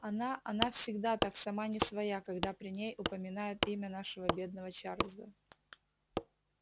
она она всегда так сама не своя когда при ней упоминают имя нашего бедного чарлза